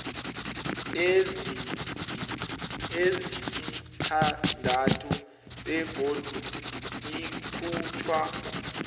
ezisithandathu begodu ikhutjhwa